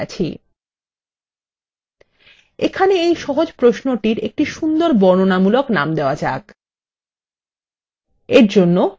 এখানে এই সহজ প্রশ্নটির একটা সুন্দর বর্ণনামূলক নাম দেওয়া যাক